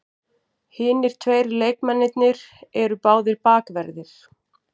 Hinir tveir leikmennirnir eru báðir bakverðir